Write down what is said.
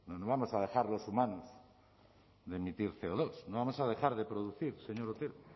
no vamos a dejar los humanos de emitir ce o dos no vamos a dejar de producir señor otero